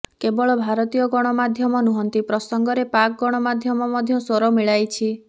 କେବଳ ଭାରତୀୟ ଗଣମାଧ୍ୟମ ନୁହଁନ୍ତି ପ୍ରସଙ୍ଗରେ ପାକ୍ ଗଣମାଧ୍ୟମ ମଧ୍ୟ ସ୍ୱର ମିଳାଇଛି